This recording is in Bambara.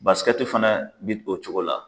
Basikɛɛti fana bi o cogo la.